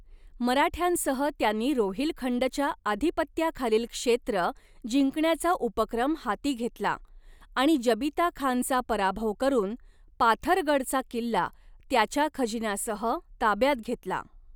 मराठ्यांसह त्यांनी रोहिलखंडच्या आधिपत्याखालील क्षेत्र जिंकण्याचा उपक्रम हाती घेतला आणि जबीता खानचा पराभव करून, पाथरगडचा किल्ला त्याच्या खजिन्यासह ताब्यात घेतला.